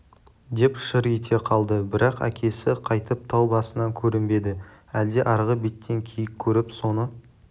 деп шыр ете қалды бірақ әкесі қайтып тау басынан көрінбеді әлде арғы беттен киік көріп соны